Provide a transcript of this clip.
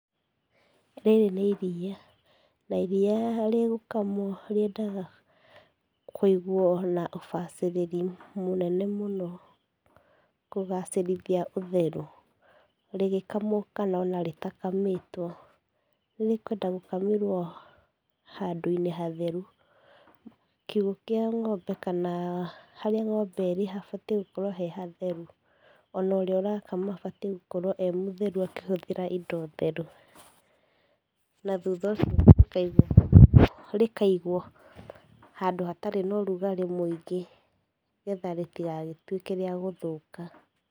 Rĩrĩ nĩ iria, na iria rĩgũkamwo rĩendaga kũigwo na ũbacĩrĩri mũnene mũno kũgacĩrithia ũtheru rĩgĩkamwo kana o na rĩtakamĩtwo. Nĩrĩkwenda gũkamĩrwo handũ-inĩ hatheru. Kiugũ kĩa ng'ombe kana harĩa ng'ombe ĩrĩ habatiĩ gũkorwo he hatheru. O na ũrĩa ũrakama abatiĩ gũkorwo e mũtheru akĩhũthĩra indo theru. Na thutha ũcio rĩkaigwo rĩkaigwo handũ hatarĩ na ũrugarĩ mũingĩ nĩgetha rĩtigagĩtuĩke rĩa gũthũka.